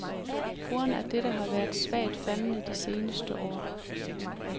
Brugen af dette har været svagt faldende de seneste år.